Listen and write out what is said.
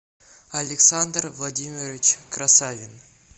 александр владимирович красавин